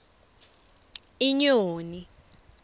inyoni